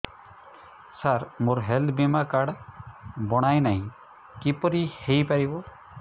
ସାର ମୋର ହେଲ୍ଥ ବୀମା କାର୍ଡ ବଣାଇନାହିଁ କିପରି ହୈ ପାରିବ